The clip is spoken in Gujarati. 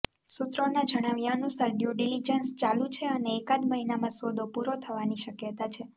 સૂત્રોના જણાવ્યા અનુસાર ડ્યૂ ડિલિજન્સ ચાલુ છે અને એકાદ મહિનામાં સોદો પૂરો થવાની શક્યતા છે